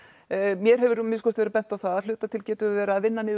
mér hefur að minnsta kosti verið bent á það að hluta til getum við verið að vinna niður